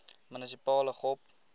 munisipale gop